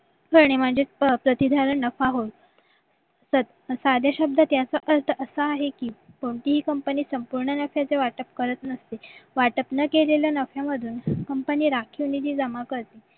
म्हणजेच प्रति धरण नफा होय साध्या शब्द त्याचा अर्थ असा आहे की कोणतीही company संपूर्ण नफ्याचा वाटप करत नसते वाटत न केलेल्या नफ्या मधून company राखीव निधी जमा करते